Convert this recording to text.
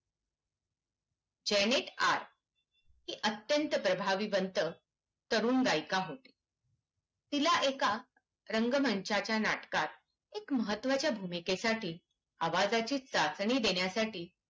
जयनेत हे अत्यंत प्रभावी बनत तरुण गायिका होत तिला एका रंगमंचाच्या नाटकात एक महत्वाच्या भूमिकेसाठी आवाजाची चाचणी देण्यासाठी